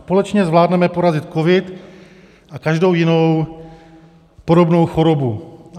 Společně zvládneme porazit covid a každou jinou podobnou chorobu.